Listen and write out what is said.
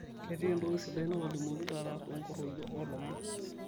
ketii entoki sidai natolimuoki taata too nkoroki olomon